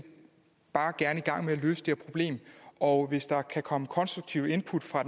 bare gerne i gang med at løse det her problem og hvis der kan komme konstruktive input fra